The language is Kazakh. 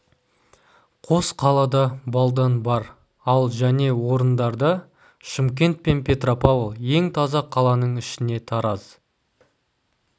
қос қалада балдан бар ал және орындарда шымкент пен петропавл ең таза қаланың ішіне тараз